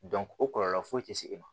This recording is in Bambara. o kɔlɔlɔ foyi ti se e ma